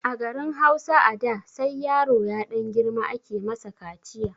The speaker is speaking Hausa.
A garin Hausa a da ,sai yaro ya ɗan girma ake masa kaciya.